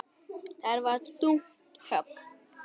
Það var þungt högg.